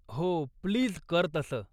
हो, प्लीज कर तसं.